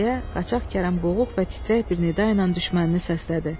deyə Qaçaq Kərəm boğuq və titrək bir nida ilə düşmənini səslədi.